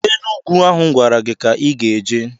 Enugu ahụ m gwara gị ka ị ga-eje!